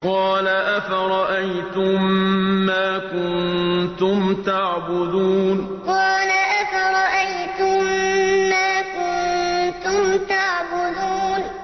قَالَ أَفَرَأَيْتُم مَّا كُنتُمْ تَعْبُدُونَ قَالَ أَفَرَأَيْتُم مَّا كُنتُمْ تَعْبُدُونَ